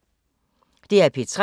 DR P3